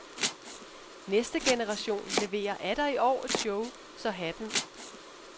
Næste generation leverer atter i år et show, så hatten